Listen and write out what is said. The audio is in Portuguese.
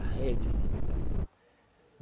A rede, se não tivesse pão.